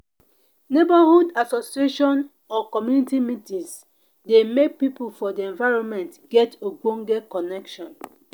neighborhood association or community meetings dey make pipo for di environment get ogbonge connection